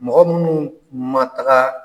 Mɔgɔ minnu ma taga